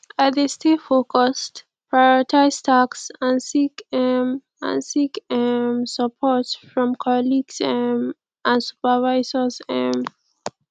i dey stay focused prioritize tasks and seek um and seek um support from colleagues um and supervisors um